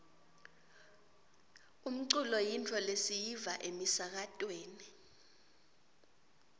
umculo yintfo lesiyiva emisakatweni